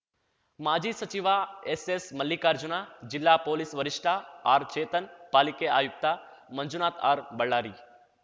ಮಾಜಿ ಸಚಿವ ಎಸ್‌ಎಸ್‌ಮಲ್ಲಿಕಾರ್ಜುನ ಜಿಲ್ಲಾ ಪೊಲೀಸ್‌ ವರಿಷ್ಟಆರ್‌ಚೇತನ್‌ ಪಾಲಿಕೆ ಆಯುಕ್ತ ಮಂಜುನಾಥ್ ಆರ್‌ಬಳ್ಳಾರಿ